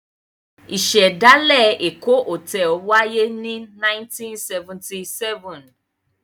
Ìṣẹ̀dálẹ̀ Èkó Hòtẹ́ẹ́lì wáyé ní 1977.